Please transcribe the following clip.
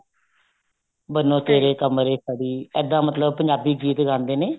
ਬੰਨੋ ਤੇਰੇ ਕਮਰੇ ਖੜੀ ਇਹਦਾ ਮਤਲਬ ਪੰਜਾਬੀ ਗੀਤ ਗਾਉਂਦੇ ਨੇ